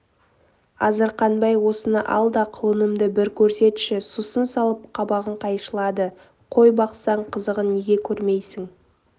азырқанбай осыны ал да құлынымды бір көрсетші сұсын салып қабағын қайшылады қой бақсаң қызығын неге көрмейсің